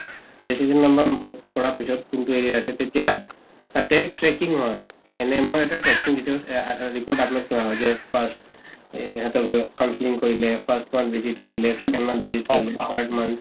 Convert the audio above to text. কৰা পিছৰ কোনটো area আছে তেতিয়া tracking হয় । NM ৰ এটা tracking detail অ report upload কৰা হয় যে first সিহঁতক গৈ counseling কৰিলে first month visit কৰিলে second month visit কৰিলে third month